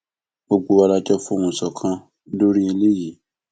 gbogbo wa la jọ fohùn ṣọkan lórí eléyìí